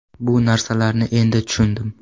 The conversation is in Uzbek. Bu narsalarni endi tushundim.